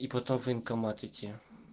и потом в военкомат идти